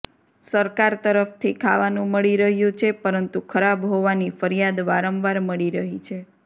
સરકાર તરફથી ખાવાનું મળી રહ્યું છે પરંતુ ખરાબ હોવાની ફરિયાદ વારંવાર મળી રહી છે